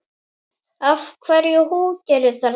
Af hverju húkirðu þarna?